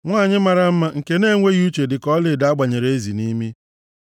Nwanyị mara mma, nke na-enweghị uche, dịka ọlaedo a gbanyere ezi nʼimi.